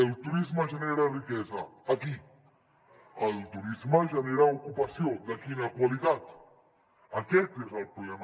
el turisme genera riquesa a qui el turisme genera ocupació de quina qualitat aquest és el problema